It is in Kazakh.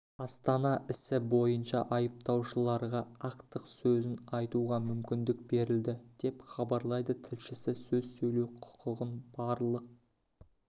астана ісі бойынша айыпталушыларға ақтық сөзін айтуға мүмкіндік берілді деп хабарлайды тілшісі сөз сөйлеу құқығын барлық